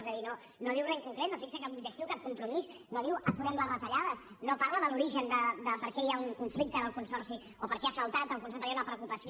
és a dir no diu re en concret no fixa cap objectiu cap compromís no diu aturem les retallades no parla de l’origen de per què hi ha un conflicte ara al consorci o per què ha saltat per què hi ha una preocupació